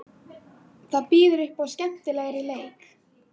Það býður upp á skemmtilegri leik.